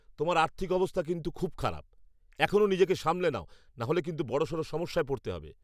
তোমার আর্থিক অবস্থা কিন্তু খুব খারাপ! এখনও নিজেকে সামলে নাও, নাহলে কিন্তু বড়সড় সমস্যায় পড়তে হবে।